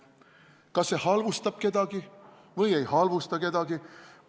" Kas see halvustab kedagi või ei halvusta kedagi?